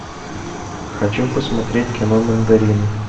хочу посмотреть кино мандарины